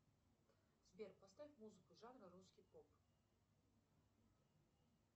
сбер поставь музыку жанра русский поп